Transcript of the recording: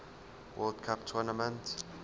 world cup tournament